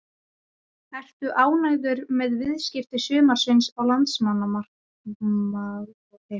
Ertu ánægður með viðskipti sumarsins á leikmannamarkaðinum?